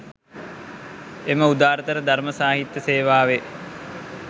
එම උදාරතර ධර්ම සාහිත්‍ය සේවාවේ